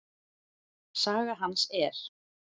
Saga hans er